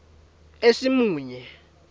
esimunye